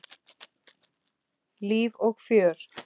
Líf og fjör.